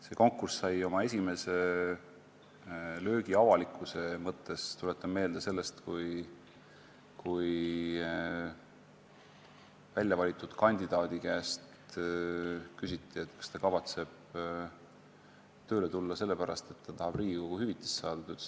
See konkurss sai oma esimese löögi avalikkuse mõttes, tuletan meelde, sellest, kui väljavalitud kandidaadi käest küsiti, kas ta kavatseb hiljem tööle tulla sellepärast, et tahab Riigikogu liikme hüvitist saada.